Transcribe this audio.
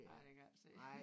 Ja det kan jeg ikke se